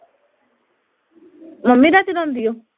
mummy ਦਾ ਚਲਾਉਂਦੀ ਓਹ